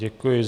Děkuji.